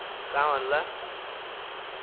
का मनला